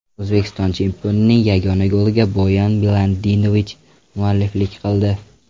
O‘zbekiston chempionining yagona goliga Boyan Miladinovich mualliflik qildi.